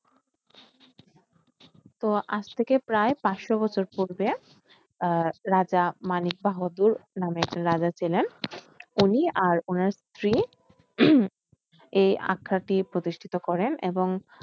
তো আজ থেকে প্রায় পাঁচশ বছর পূর্বে আহ রাজা মানিক বাহাদুর নামে একটা রাজা ছিলেন। উনি আর ওনার স্ত্রী উম এই আখড়া টি প্রতিষ্ঠিত করেন।